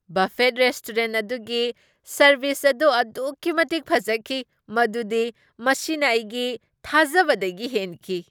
Buffet restaurant ꯑꯗꯨꯒꯤ service ꯑꯗꯨ ꯑꯗꯨꯛꯀꯤ ꯃꯇꯤꯛ ꯐꯖꯈꯤ ꯃꯗꯨꯗꯤ ꯃꯁꯤꯅ ꯑꯩꯒꯤ ꯊꯥꯖꯕꯗꯒꯤ ꯍꯦꯟꯈꯤ!